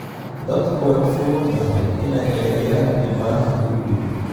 Dadku way u fududahay inay eedeeyaan dhibbanaha, ayuu yidhi.